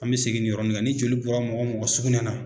An mɛ segin nin yɔrɔnin kan ni joli bɔra mɔgɔ mɔgɔ sugunɛ na